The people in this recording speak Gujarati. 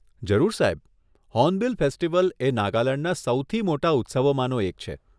જરૂર સાહેબ, હોર્નબીલ ફેસ્ટિવલ એ નાગાલેંડના સૌથી મોટા ઉત્સવોમાંનો એક છે.